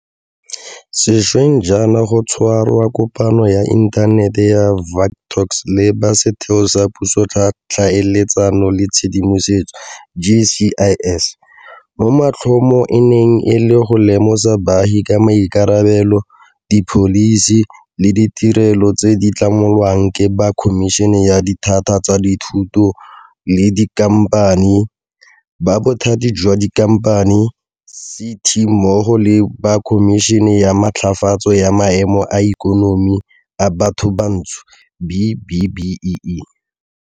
Sešweng jaana go tshwerwe kopano ya Inthanete ya Vuk Talks le ba Setheo sa Puso sa Tlhaeletsano le Tshedimosetso GCIS, mo maitlhomo e neng e le go lemosa baagi ka maikarabelo, dipholisi le ditirelo tse di tlamelwang ke ba Khomišene ya Dithata tsa Dithoto le Dikhamphani, ba Bothati jwa Dikhamphani CT mmogo le ba Khomišene ya Matlafatso ya Maemo a Ikonomi a Bathobantsho B-BBEE.